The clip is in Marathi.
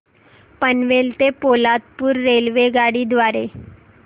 पनवेल ते पोलादपूर रेल्वेगाडी द्वारे